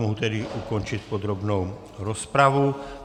Mohu tedy ukončit podrobnou rozpravu.